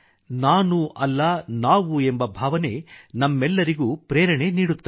ನಾನ ಅಲ್ಲ ನಾವು ಎಂಬ ಭಾವನೆ ನಮ್ಮೆಲ್ಲರಿಗೂ ಪ್ರೇರಣೆ ನೀಡುತ್ತದೆ